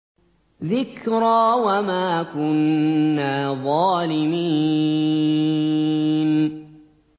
ذِكْرَىٰ وَمَا كُنَّا ظَالِمِينَ